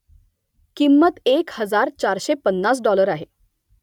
किंमत एक हजार चारशे पन्नास डाॅलर आहे